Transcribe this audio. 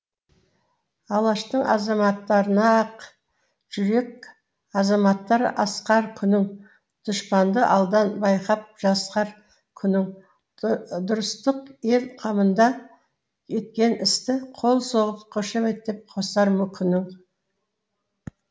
алаштың азаматтарына ақ жүрек азаматтар асқар күнің дұшпанды алдан байқап жасқар күнің дұрыстық ел қамында еткен істі қол соғып қошеметтеп қосар күнің